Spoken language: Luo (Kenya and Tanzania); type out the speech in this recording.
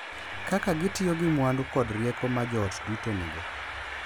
Kaka gitiyo gi mwandu kod rieko ma joot duto nigo.